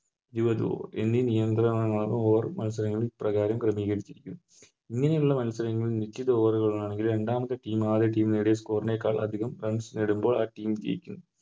എന്നീ നിയന്ത്രണമാണ് വേറെ മത്സരങ്ങള് പ്രകാരം ക്രമീകരിച്ചിരിക്കുന്നത് ഇങ്ങനെയുള്ള മത്സരങ്ങളിൽ നിശ്ചിത Over ഉകൾ ആണെങ്കിൽ രണ്ടാമത്തെ Team ആയ Team നേടിയ Score നേക്കാൾ അതികം Runs നേടുമ്പോൾ ആ Team ജയിക്കുന്നു